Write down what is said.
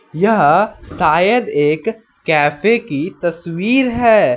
यह शायद एक कैफे की तस्वीर है।